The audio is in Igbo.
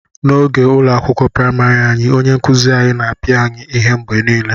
N'oge ụlọ akwụkwọ praịmarị anyị, onye nkuzi anyị na-apịa anyị ihe mgbe niile